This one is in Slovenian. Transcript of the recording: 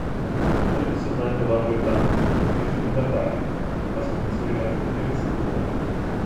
Srbi so znani po dobri obrambi in odličnih vratarjih, pa smo jim nasuli več kot trideset golov.